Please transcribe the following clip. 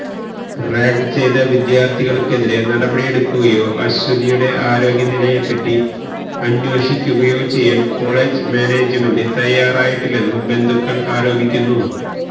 rag ചെയ്ത വിദ്യാര്ഥികള്ക്കെതിരെ നടപടിയെടുക്കുകയോ അശ്വതിയുടെ ആരോഗ്യനിലയെപ്പറ്റി അന്വേഷിയ്ക്കുകയോ ചെയ്യാന് കൊളെജ് മാനേജ്മെന്റ് തയ്യാറായിട്ടില്ലെന്നും ബന്ധുക്കള് ആരോപിയ്ക്കുന്നു